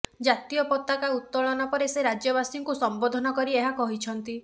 ଜାତୀୟ ପତାକା ଉତ୍ତୋଳନ ପରେ ସେ ରାଜ୍ୟବାସୀଙ୍କୁ ସମ୍ବୋଧନ କରି ଏହା କହିଛନ୍ତି